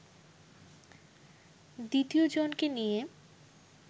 দ্বিতীয় জনকে নিয়ে